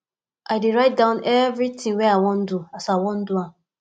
i dey write down everytin wey i wan do as i wan do am